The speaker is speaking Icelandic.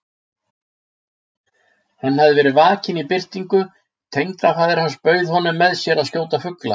Hann hafði verið vakinn í birtingu: tengdafaðir hans bauð honum með sér að skjóta fugla.